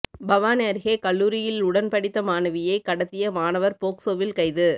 பவானி அருகே கல்லூரியில் உடன் படித்த மாணவியை கடத்திய மாணவர் போக்சோவில் கைது